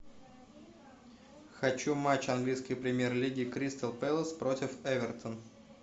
хочу матч английской премьер лиги кристал пэлас против эвертон